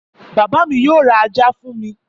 Bàbá mi yóò ra ajá fún mi.